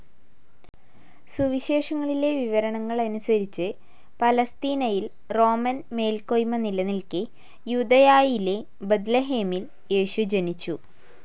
സുവിശേഷങ്ങളിലെ വിവരണങ്ങൾ അനുസരിച്ചു, പലസ്തീനയിൽ റോമൻ മേൽക്കോയ്മ നിലനിൽക്കെ, യൂദയായിലെ ബ്‌ദതലഹേമിൽ യേശു ജനിച്ചു.